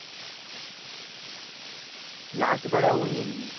Last বারে win